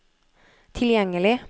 tilgjengelig